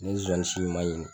N'i ye zonzan si ɲuman ɲini